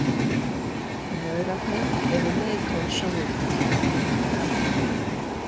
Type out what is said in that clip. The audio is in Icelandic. Maurarnir eru leiðtogar Sovétríkjanna.